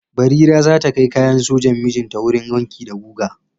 Barira za ta kai kayan sojan mijinta wurin wanki da guga?